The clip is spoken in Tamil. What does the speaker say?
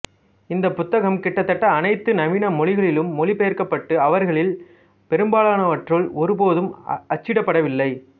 இந்த புத்தகம் கிட்டத்தட்ட அனைத்து நவீன மொழிகளிலும் மொழிபெயர்க்கப்பட்டு அவர்களில் பெரும்பாலனவற்றுள் ஒருபோதும் அச்சிடப்படவில்லை